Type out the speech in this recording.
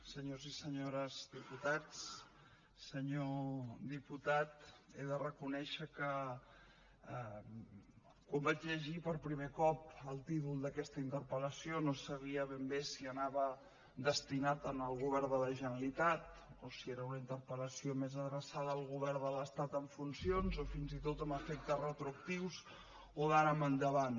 senyors i senyores diputats senyor diputat he de reconèixer que quan vaig llegir per primer cop el títol d’aquesta interpel·lació no sabia ben bé si anava destinat al govern de la generalitat o si era una interpel·lació més adreçada al govern de l’estat en funcions o fins i tot amb efectes retroactius o d’ara en endavant